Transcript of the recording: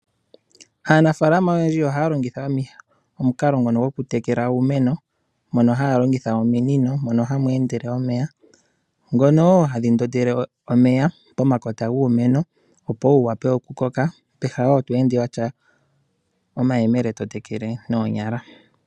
Aanafalama oohaya longitha omukalo ngono gwokutekela iimeno taya longitha ominino mono hamu endele omeya. Ohadhi ndondele omeya pomakota giimeno, opo wu wape okukoka peha lyokuenda wa tya omayemele to tekele noonyala.